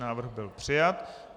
Návrh byl přijat.